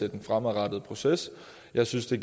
af den fremadrettede proces jeg synes at